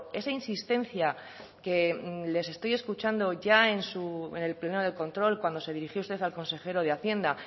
esa insistencia que les estoy escuchando ya en el pleno de control cuando se dirigió usted al consejero de hacienda